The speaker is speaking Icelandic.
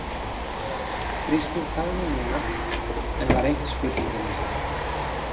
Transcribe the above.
Kristín þagði núna en var eitt spurningamerki.